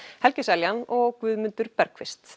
helgi Seljan og Guðmundur